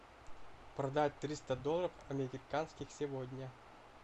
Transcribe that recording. продать триста долларов американских сегодня